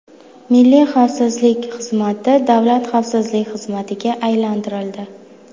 Milliy xavfsizlik xizmati Davlat xavfsizlik xizmatiga aylantirildi.